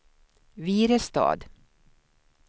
Virestad